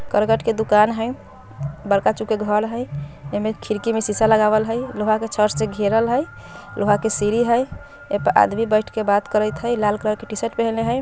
करकट के दुकान हई बरका चुके घर हई इमे खिड़की मे शीशा लगावल हई लोहा के छड़ से घेरल हई लोहा के सीढ़ी हई ए पर आदमी बैठ के बात करैत हई लाल कलर के टीशर्ट पहनले हई।